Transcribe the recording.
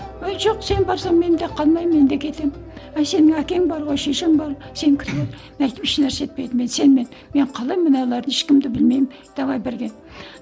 ой жоқ сен барсаң мен де қалмаймын мен де кетемін ай сенің әкең бар ғой шешең бар сен мен айттым ешнәрсе етпейді мен сенімен мен қалай мыналарды ешкімді білмеймін давай бірге